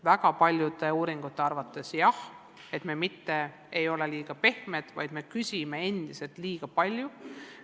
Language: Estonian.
Väga paljude uuringute tulemused näitavad, et me mitte ei ole liiga pehmed, vaid nõuame endiselt liiga palju.